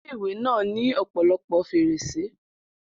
Ilé-ìwé náà ní ọ̀pọ̀lọpọ̀ fèrèsé